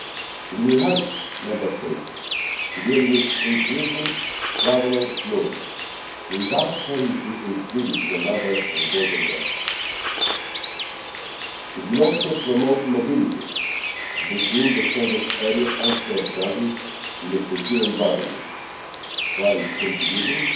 It will help Member States to deal with increasing traveller flows without having to increase the number of border guards. It will also promote mobility between the Schengen area and third countries in a secure environment, while contributing